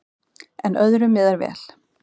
En öðru miðar vel.